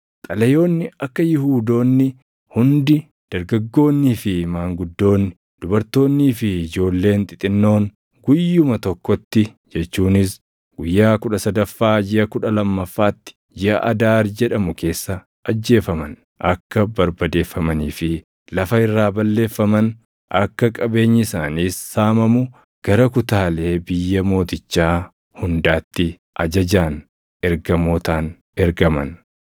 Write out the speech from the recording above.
Xalayoonni akka Yihuudoonni hundi dargaggoonnii fi maanguddoonni, dubartoonnii fi ijoolleen xixinnoon guyyuma tokkotti jechuunis guyyaa kudha sadaffaa jiʼa kudha lammaffaatti, jiʼa Adaar jedhamu keessa ajjeefaman, akka barbadeeffamanii fi lafa irraa balleeffaman, akka qabeenyi isaaniis saamamu gara kutaalee biyya mootichaa hundaatti ajajaan ergamootaan ergaman.